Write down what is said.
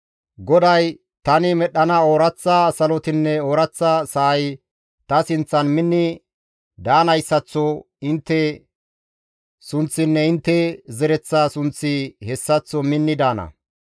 GODAY, «Tani medhdhana ooraththa salotinne ooraththa sa7ay ta sinththan minni daanayssaththo intte sunththinne intte zereththa sunththi hessaththo minni daana.